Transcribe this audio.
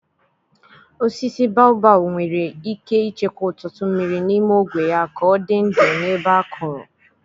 Osisi baobab nwere ike ịchekwa ọtụtụ mmiri n'ime ogwe ya ka ọ dị ndụ n'ebe akọrọ.